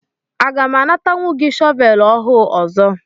Aga m anatanwu gị shọvel ọhụụ ọzọ?